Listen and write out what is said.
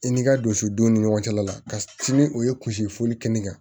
I ni ka don so don ni ɲɔgɔn cɛla la ka sini o ye kunsi foli kɛ ne kan